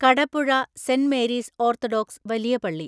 Kadapuzha saint Mary's orthodox വലിയ പള്ളി